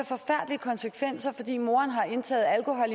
forfærdelige konsekvenser fordi moren har indtaget alkohol